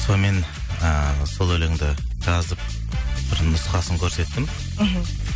сонымен ы сол өлеңді жазып бір нұсқасын көрсеттім іхі